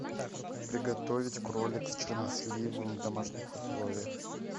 приготовить кролик с черносливом в домашних условиях